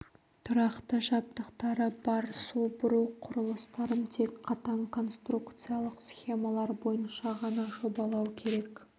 тұрақты жабдықтары бар су бұру құрылыстарын тек қатаң конструкциялық схемалар бойынша ғана жобалау керек